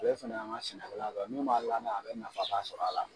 Ale fɛnɛ ye an ka sɛnɛkɛla dɔ ye min bɛ n lamɛn a bɛ nafaba sɔrɔ a la